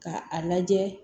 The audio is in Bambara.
Ka a lajɛ